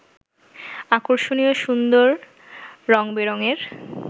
আকর্ষনীয়, সুন্দর, রঙ-বেরংয়ের